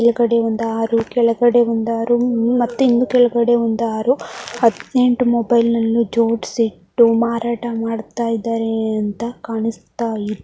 ಮೇಲಗಡೆ ಒಂದ ಆರು ಕೆಳಗಡೆ ಒಂದ ಆರು ಮತ್ತೆ ಇನ್ನು ಕೆಳಗಡೆ ಒಂದ ಆರು ಹದಿನೆಂಟು ಮೊಬೈಲ್ ಅನ್ನು ಜೋಡ್ಸಿ ಇಟ್ಟು ಮಾರಾಟ ಮಾಡತ್ತಾ ಇದ್ದಾರೆ ಅಂತ ಕಾಣಸ್ತಾ ಇದೆ.